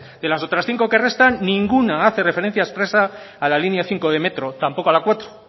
de las otras cinco que restan ninguna hace referencia expresa a la línea cinco de metro tampoco a la cuatro